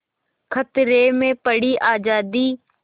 खतरे में पड़ी आज़ादी